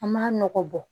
An m'a nɔgɔ bɔ